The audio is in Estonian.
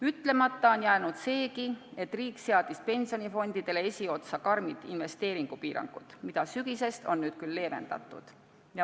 Ütlemata on jäänud seegi, et riik seadis pensionifondidele esiotsa karmid investeeringupiirangud, mida sellest sügisest on leevendatud.